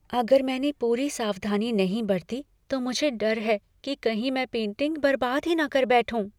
अगर मैंने पूरी सावधानी नहीं बरती तो मुझे डर है कि कहीं मैं पेंटिंग बरबाद ही न कर बैठूँ।